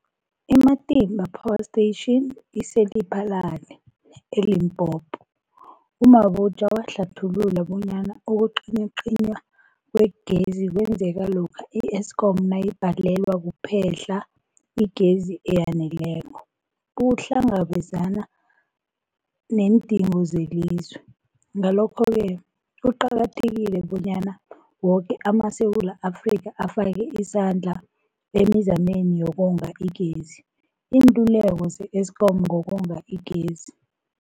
I-Matimba Power Station ise-Lephalale, eLimpopo. U-Mabotja wahlathulula bonyana ukucinywacinywa kwegezi kwenzeka lokha i-Eskom nayibhalelwa kuphe-hla igezi eyaneleko ukuhlangabezana neendingo zelizwe. Ngalokho-ke kuqakathekile bonyana woke amaSewula Afrika afake isandla emizameni yokonga igezi. Iinluleko ze-Eskom ngokonga igezi.